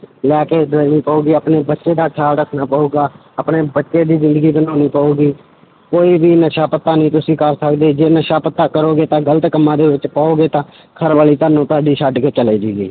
ਲੈ ਕੇ ਦੇਣੀ ਪਊਗੀ ਆਪਣੇ ਬੱਚੇ ਦਾ ਖਿਆਲ ਰੱਖਣਾ ਪਊਗਾ, ਆਪਣੇ ਬੱਚੇ ਦੀ ਜ਼ਿੰਦਗੀ ਬਣਾਉਣੀ ਪਊਗੀ, ਕੋਈ ਵੀ ਨਸ਼ਾ ਪੱਤਾ ਨੀ ਤੁਸੀਂ ਕਰ ਸਕਦੇ ਜੇ ਨਸ਼ਾ ਪੱਤਾ ਕਰੋਗੇ ਤਾਂ ਗ਼ਲਤ ਕੰਮਾਂ ਦੇ ਵਿੱਚ ਪਓਗਾ ਤਾਂ ਘਰਵਾਲੀ ਤੁਹਾਨੂੰ ਤੁਹਾਡੀ ਛੱਡ ਕੇ ਚਲੇ ਜਾਏਗੀ।